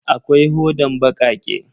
Akwai hodan bakake.